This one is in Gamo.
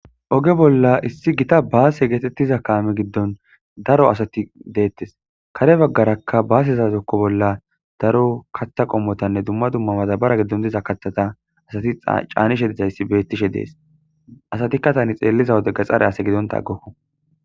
Oge bolla issi gita baase geetettiza kaame giddon daro asati deettes kare baggarakka baasezazokko bolla daro kaththa qommotanne dumma dumma madabara giddon diza kathata asati caanishe dizayssi bettishe dees asati katani xeelliza wode ga xare ase gidonta aggokona